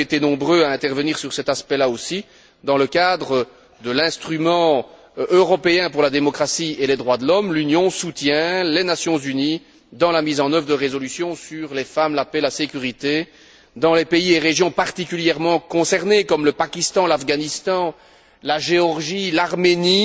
Vous avez été nombreux à intervenir sur cet aspect là aussi. Dans le cadre de l'instrument européen pour la démocratie et les droits de l'homme, l'Union soutient les Nations unies dans la mise en œuvre de résolutions sur les femmes, la paix et la sécurité dans les pays et régions particulièrement concernées comme le Pakistan, l'Afghanistan, la Géorgie, l'Arménie,